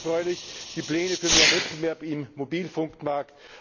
Besonders erfreulich sind die Pläne für mehr Wettbewerb im Mobilfunkmarkt.